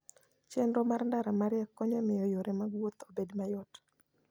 chenro mar ndara mariek konyo e miyo yore mag wuoth obed mayot.